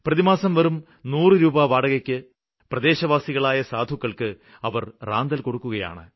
പ്രതിമാസം വെറും നൂറു രൂപാ വാടകയ്ക്ക് പ്രദേശവാസികളായ സാധുക്കള്ക്ക് അവര് റാന്തല് കൊടുക്കുകയാണ്